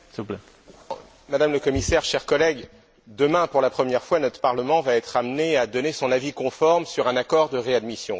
Monsieur le Président, Madame la Commissaire, chers collègues, demain, pour la première fois, notre Parlement va être amené à donner son avis conforme sur un accord de réadmission.